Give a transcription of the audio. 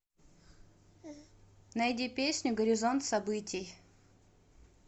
найди песню горизонт событий